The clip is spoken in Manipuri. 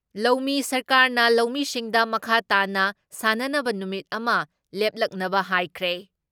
ꯂꯧꯃꯤ ꯁꯔꯀꯥꯔꯅ ꯂꯧꯃꯤꯁꯤꯡꯗ ꯃꯈꯥ ꯇꯥꯅ ꯁꯥꯟꯅꯅꯕ ꯅꯨꯃꯤꯠ ꯑꯃ ꯂꯦꯞꯂꯛꯅꯕ ꯍꯥꯏꯈ꯭ꯔꯦ ꯫